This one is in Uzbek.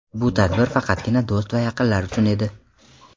Bu tadbir faqatgina do‘st va yaqinlar uchun edi.